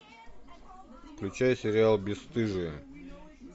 включай сериал бесстыжие